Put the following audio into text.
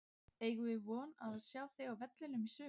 Eigum við von á að sjá þig á vellinum í sumar?